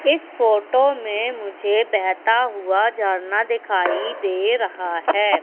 इस फोटो मे मुझे बहता हुआ झरना दिखाई दे रहा है।